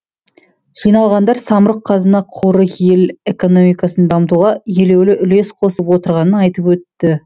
жиналғандар самұрық қазына қоры ел экономикасын дамытуға елеулі үлес қосып отырғанын айтып өтті